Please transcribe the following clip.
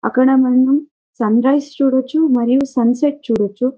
అక్కడ మనం sunrise చూడొచ్చు. మరియు సన్సెట్ చూడొచ్చు.